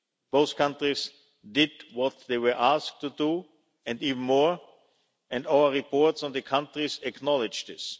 Both countries did what they were asked to do and even more, and our reports on the countries acknowledge this.